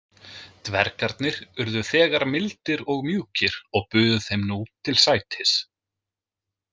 Dvergarnir urðu þegar mildir og mjúkir og buðu þeim nú til sætis.